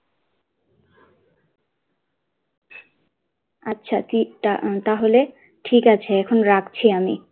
আচ্ছা ঠিক তাহলে ঠিক আছে এখন রাখছি আমি।